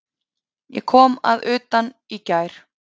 Ég kom að utan í gær.